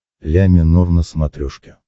ля минор на смотрешке